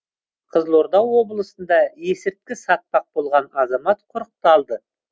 қызылорда облысында есірткі сатпақ болған азамат құрықталды